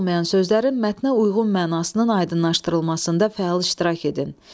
Tanış olmayan sözlərin mətnə uyğun mənasının aydınlaşdırılmasında fəal iştirak edin.